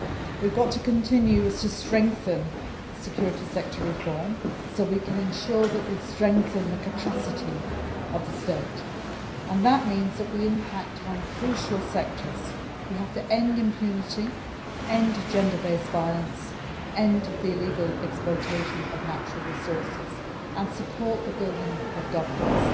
We have got to continue to strengthen the security sector reform so we can ensure that we strengthen the capacity of the state and that means that we impact on crucial sectors. We have to end impunity, end gender based violence, end the illegal exploitation of natural resources and support the building of governance.